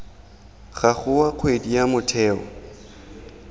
gago wa kgwedi wa motheo